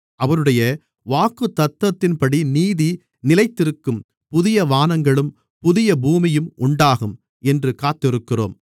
அவருடைய வாக்குத்தத்தத்தின்படி நீதி நிலைத்திருக்கும் புதிய வானங்களும் புதிய பூமியும் உண்டாகும் என்று காத்திருக்கிறோம்